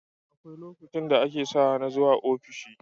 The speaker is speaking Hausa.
Akwai lokacin da ake sawa na zuwa ofishi